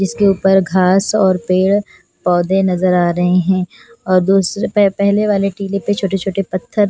जिसके ऊपर घास और पेड़ पौधे नजर आ रहे हैं और दूसरे पहले वाले टीले पर छोटे-छोटे पत्थर --